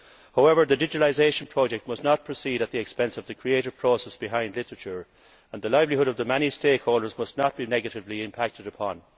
However, the digitalisation project must not proceed at the expense of the creative process behind literature and the livelihood of the many stakeholders must not be negatively impacted upon.